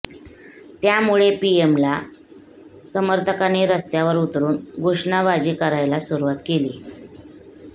त्यामुळे पीएमएल समर्थकांनी रस्त्यावर उतरून घोषणाबाजी करायला सुरुवात केली